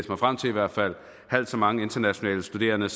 mig frem til i hvert fald har halvt så mange internationale studerende